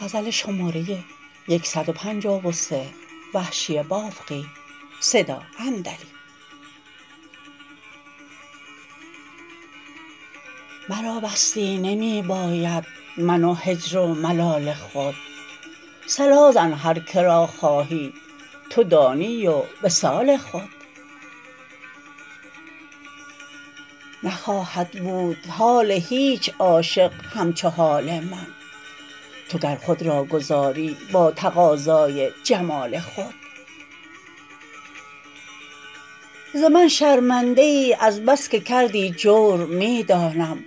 مرا وصلی نمی باید من و هجر و ملال خود صلا زن هر که را خواهی تو دانی و وصال خود نخواهد بود حال هیچ عاشق همچو حال من تو گر خود را گذاری با تقاضای جمال خود ز من شرمنده ای از بسکه کردی جور می دانم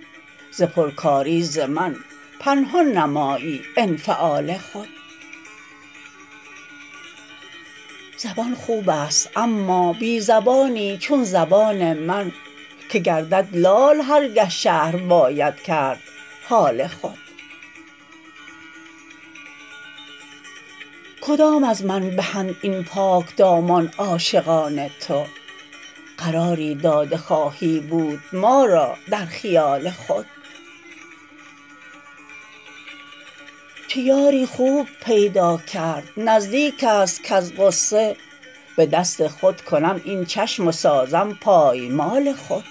ز پرکاری زمن پنهان نمایی انفعال خود زبان خوبست اما بی زبانی چون زبان من که گردد لال هر گه شرح باید کرد حال خود کدام از من بهند این پاک دامان عاشقان تو قراری داده خواهی بود ما را در خیال خود چه یاری خوب پیدا کرد نزدیکست کز غصه به دست خود کنم این چشم و سازم پایمال خود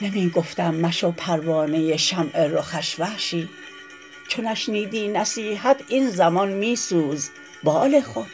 نمی گفتم مشو پروانه شمع رخش وحشی چو نشنیدی نصیحت این زمان می سوز بال خود